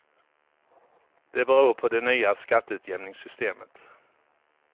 Det beror på det nya skatteutjämningssystemet.